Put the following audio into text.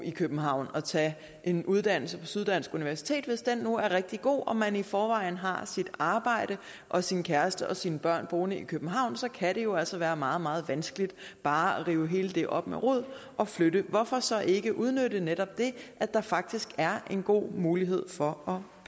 i københavn og tage en uddannelse på syddansk universitet hvis den nu er rigtig god og man i forvejen har sit arbejde og sin kæreste og sine børn boende i københavn kan det jo altså være meget meget vanskeligt bare at rive det hele op med rode og flytte hvorfor så ikke udnytte netop det at der faktisk er en god mulighed for